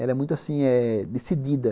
Ela é muito, assim, eh... decidida.